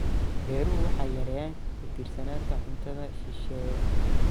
Beeruhu waxay yareeyaan ku tiirsanaanta cuntada shisheeye.